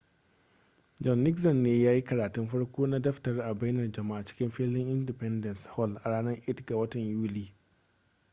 john nixon ne ya yi karatun farko na daftarin a bainar jama'a cikin filin independence hall a ranar 8 ga watan yuli